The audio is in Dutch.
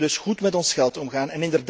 we moeten dus goed met ons geld omgaan.